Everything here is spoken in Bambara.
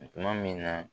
Tuma min na